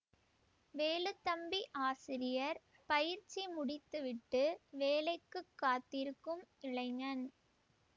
வேலுத்தம்பி ஆசிரியர் பயிற்சி முடித்து விட்டு வேலைக்குக் காத்திருக்கும் இளைஞன்